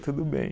Tudo bem.